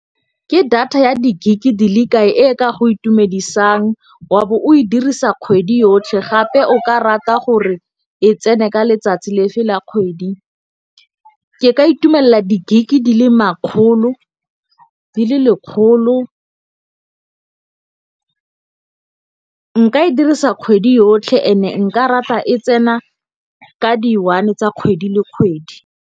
Ke data ya di gig di le kae e ka go itumedisang wa bo o e dirisa kgwedi yotlhe gape o ka rata gore e tsene ka letsatsi le fela kgwedi. Ke ka itumella di gig di le lekgolo, nka e dirisa kgwedi yotlhe and-e nka rata e tsena ka di one tsa kgwedi le kgwedi.